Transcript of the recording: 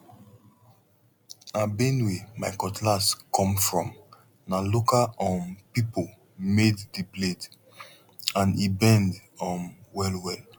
na benue my cutlass come fromna local um people made the blade and e bend um well well